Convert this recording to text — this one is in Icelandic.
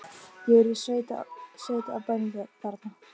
Ég er í sveit á bænum þarna,